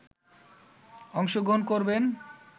অংশগ্রহণ করবেন